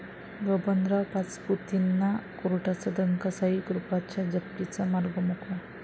बबनराव पाचपुतेंना कोर्टाचा दणका, 'साईकृपा'च्या जप्तीचा मार्ग मोकळा